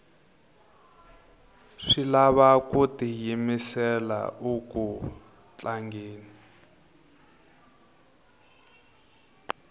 swi lava ku tiyimisela uku tlangeni